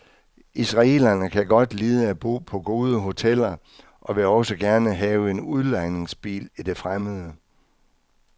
Israelerne kan godt lide at bo på gode hoteller, og vil også gerne have en udlejningsbil i det fremmede.